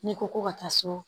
N'i ko ko ka taa so